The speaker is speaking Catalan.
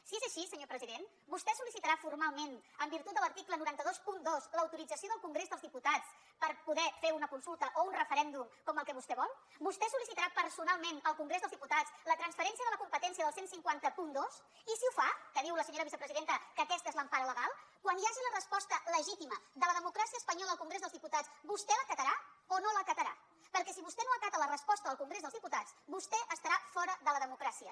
si és així senyor president vostè sol·licitarà formalment en virtut de l’article nou cents i vint dos l’autorització del congrés dels diputats per poder fer una consulta o un referèndum com el que vostè vol vostè sol·licitarà personalment al congrés dels diputats la transferència de la competència del quinze zero dos i si ho fa que diu la senyora vicepresidenta que aquesta és l’empara legal quan hi hagi la resposta legítima de la democràcia espanyola al congrés dels diputats vostè l’acatarà o no l’acatarà perquè si vostè no acata la resposta del congrés dels diputats vostè estarà fora de la democràcia